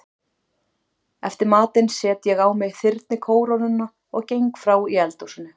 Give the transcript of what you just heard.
Eftir matinn set ég á mig þyrnikórónuna og geng frá í eldhúsinu.